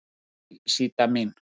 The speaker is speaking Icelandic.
Sæl Síta mín.